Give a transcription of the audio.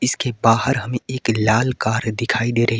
उसके बाहर हमें एक लाल कार दिखाई दे रही है।